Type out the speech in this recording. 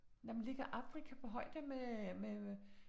Nej, men ligger Afrika på højde med med med